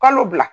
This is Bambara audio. Kalo bila